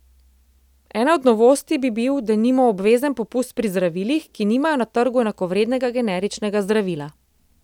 Ena od novosti bi bil denimo obvezen popust pri zdravilih, ki nimajo na trgu enakovrednega generičnega zdravila.